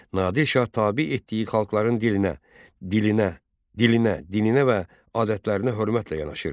Nadir Şah tabe etdiyi xalqların dilinə, dilinə, dilinə, dininə və adətlərinə hörmətlə yanaşırdı.